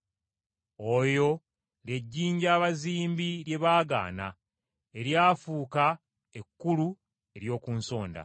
“ ‘Oyo ly’Ejjinja abazimbi lye baagaana, lye lifuuse ejjinja ekkulu ery’oku nsonda.’